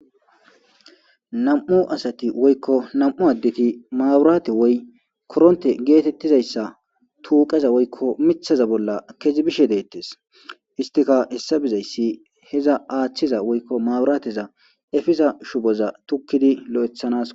Nam'u asati woyko nam'u addeti maaburate woy koronte geetetizamiththa woyko tuuqeza bolla kezi bishe deetees. Istika hessa bizaysi, iza aathiza woyko maaburate shubo aathiza shuboza tukkidi lo'ethanasiko.